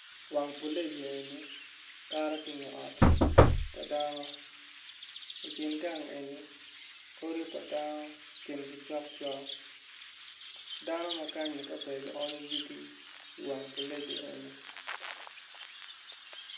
Wang puleja enni kato ki inge ot pa dano i kin gang enni odi pa dano kingi cokcok dano ma kanyi ka ber gionyo yugi i wang puleja enni